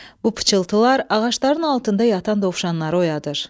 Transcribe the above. Bu pıçıltılar ağacların altında yatan dovşanları oyadır.